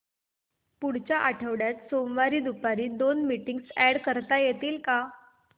पुढच्या आठवड्यात सोमवारी दुपारी दोन मीटिंग्स अॅड करता येतील का